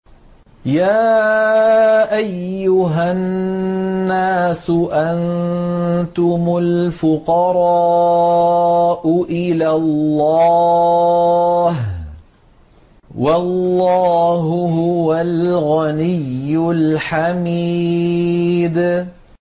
۞ يَا أَيُّهَا النَّاسُ أَنتُمُ الْفُقَرَاءُ إِلَى اللَّهِ ۖ وَاللَّهُ هُوَ الْغَنِيُّ الْحَمِيدُ